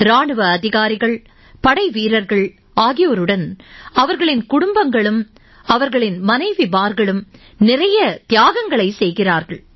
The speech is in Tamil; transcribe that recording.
இராணுவ அதிகாரிகள் படைவீரர்கள் ஆகியோருடன் அவர்களின் குடும்பங்கள் அவர்களின் மனைவிமார்களும் நிறைய தியாகங்களைச் செய்கிறார்கள்